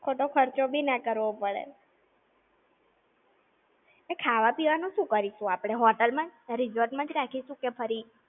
ખોટો ખર્ચો બી ના કરવો પડે! એ ખાવા-પીવાનું શું કરીશું આપણે, hotel માં જ resort માં જ રાખીશું કે ફરી?